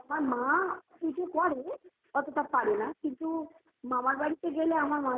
আমার মা পুজো করে অতটা পারেনা কিন্তু মামার বাড়িতে গেলে আমার